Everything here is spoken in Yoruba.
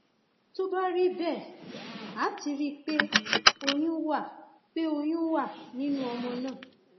tó bá rí bẹẹ a ti rí i pé oyún wà pé oyún wà nínú ọmọ náà